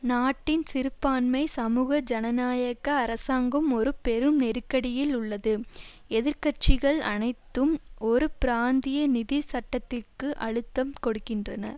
நாட்டின் சிறுபான்மை சமூக ஜனநாயக அரசாங்கம் ஒரு பெரும் நெருக்கடியில் உள்ளது எதிர் கட்சிகள் அனைத்தும் ஒரு பிராந்திய நிதி சட்டத்திற்கு அழுத்தம் கொடுக்கின்றன